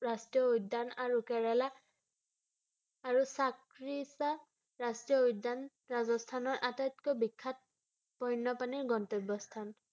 ৰাষ্ট্ৰীয় উদ্যান আৰু কেৰালা আৰু চাৰিক্সা ৰাষ্ট্ৰীয় উদ্যান ৰাজস্থানৰ আটাইতকৈ বিখ্যাত বন্যপ্ৰাণীৰ গন্তব্য স্থান ৷